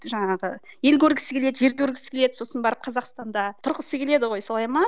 жаңағы ел көргісі келеді жер көргісі келеді сосын барып қазақстанда тұрғысы келеді ғой солай ма